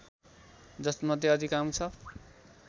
जसमध्ये अधिकांश